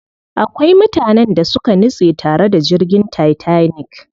Akwai mutanen da suka nutse tare da jirgin Titanic.